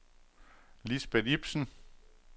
Lisbeth Ipsen